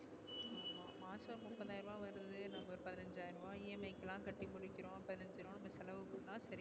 மாசம் முப்பது ஆயிரம் நம்ம ஒரு பதினைந்து ஆயிரம் EMI லா கட்டி முடிக்கிறோம் பதினைந்து ரூபாய் நம்ம செலவுக்குனா